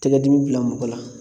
Tɛgɛ dimi bila mɔgɔ la